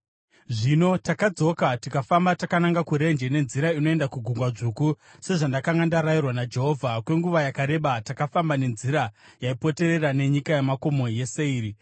Zvino takadzoka tikafamba takananga kurenje nenzira inoenda kuGungwa Dzvuku, sezvandakanga ndarayirwa naJehovha. Kwenguva yakareba takafamba nenzira yaipoterera nenyika yamakomo yeSeiri.